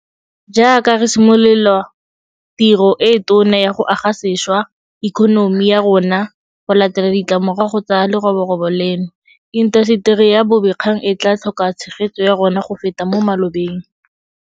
Jaaka re simolola tiro e e tona ya go aga sešwa ikonomi ya rona go latela ditlamorago tsa leroborobo leno, intaseteri ya bobegakgang e tla tlhoka tshegetso ya rona go feta mo malobeng.